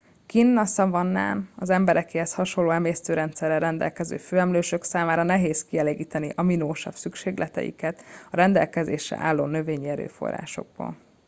kinn a szavannán az emberekéhez hasonló emésztőrendszerrel rendelkező főemlősök számára nehéz kielégíteni aminosav szükségleteiket a rendelkezésre álló növényi erőforrásokból